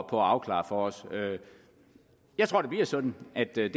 afklare for os jeg tror det bliver sådan at det er